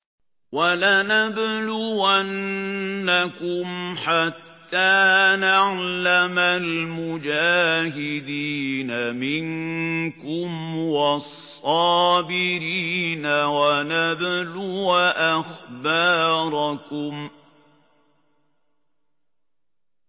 وَلَنَبْلُوَنَّكُمْ حَتَّىٰ نَعْلَمَ الْمُجَاهِدِينَ مِنكُمْ وَالصَّابِرِينَ وَنَبْلُوَ أَخْبَارَكُمْ